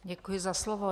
Děkuji za slovo.